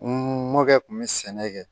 N mɔkɛ kun be sɛnɛ kɛ